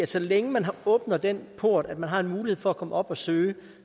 så længe man åbner den port at man har en mulighed for at komme herop og forsøge